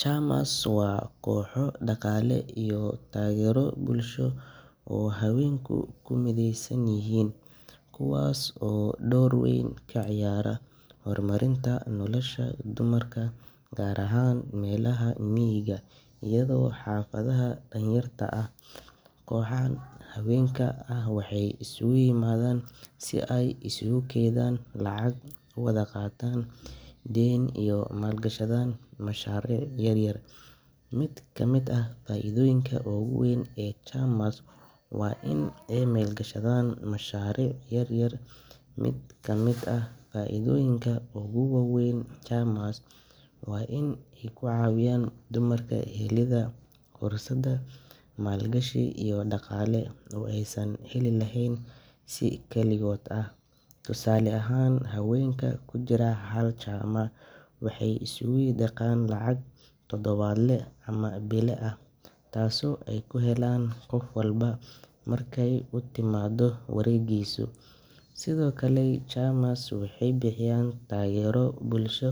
Waa kooxo daqaale iyo taagero bulsho oo habeenka kumideesan yihiin, koxahan waxeey iskuugu imaadan inaay howl gashadaan mashariic yaryar, faidoyinka waa in aay ka cawiyaan dumarka maal gashiga, habeenka kujira waxeey diiban lacag, waxeey bixiyaan taagero bulsho,